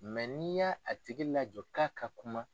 n'i y'a tigi lajɔ k'a ka kuma.